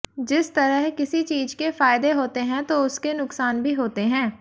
जिस तरह किसी चीज के फायदे होते हैं तो उसके नुकसान भी होते हैं